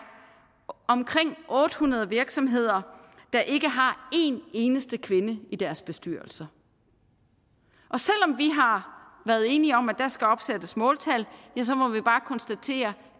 omkring otte hundrede virksomheder der ikke har en eneste kvinde i deres bestyrelser selv om vi har været enige om at der skal opsættes måltal må vi bare konstatere